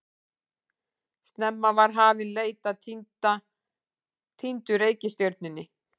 Snemma var hafin leit að týndu reikistjörnunni.